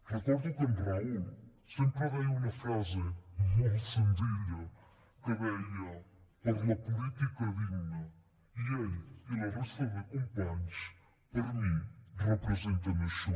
recordo que en raül sempre deia una frase molt senzilla que deia per la política digna i ell i la resta de companys per mi representen això